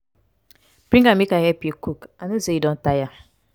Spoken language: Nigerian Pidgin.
bring am make i help you cook i no say you don tire.